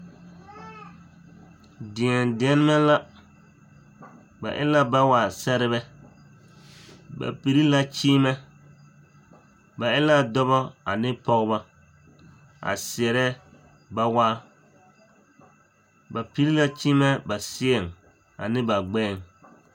Dēɛdeɛnemɛ la, ba e la bawa seɛrebɛ ba piri la kyeemɛ ba e la dɔbɔ ane pɔgebɔ a seɛrɛ bawaa, ba piri la kyeemɛ ba seɛŋ ane ba gbɛɛŋ.